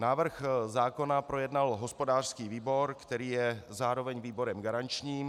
Návrh zákona projednal hospodářský výbor, který je zároveň výborem garančním.